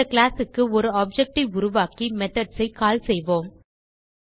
அந்த classக்கு ஒரு ஆப்ஜெக்ட் ஐ உருவாக்கி மெத்தோட்ஸ் ஐ கால் செய்வோம்